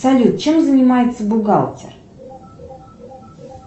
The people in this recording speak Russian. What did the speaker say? салют чем занимается бухгалтер